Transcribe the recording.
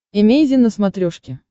эмейзин на смотрешке